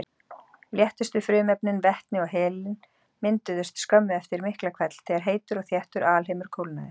Léttustu frumefnin, vetni og helín, mynduðust skömmu eftir Miklahvell þegar heitur og þéttur alheimur kólnaði.